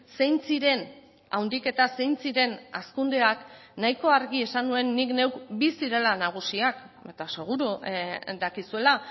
zein ziren handiketa zein ziren hazkundeak nahiko argi esan nuen nik neuk bi zirela nagusiak eta seguru dakizuela